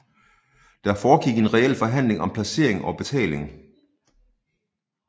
Der foregik en reel forhandling om placering og betaling